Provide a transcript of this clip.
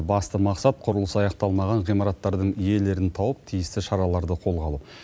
басты мақсат құрылыс аяқталмаған ғимараттардың иелерін тауып тиісті шараларды қолға алу